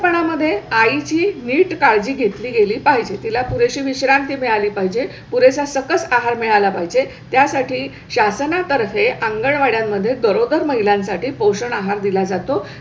पणा मध्ये आई ची नीट काळजी घेतली गेली पाहिजे. तिला पुरेशी विश्रांती मिळाली पाहिजे. पुरेसा सकत आहार मिळाला पाहिजे. त्यासाठी शासनातर्फे अंगणवाड्यांमध्ये बरोबर महिलां साठी पोषण आहार दिला जातो.